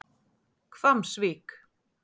Hvammsvík